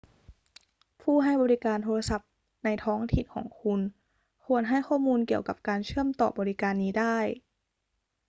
ผู้ให้บริการโทรศัพท์ในท้องถิ่นของคุณควรให้ข้อมูลเกี่ยวกับการเชื่อมต่อบริการนี้ได้